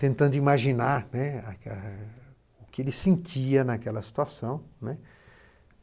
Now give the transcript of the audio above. Tentando imaginar, né, o que ele sentia naquela situação, né.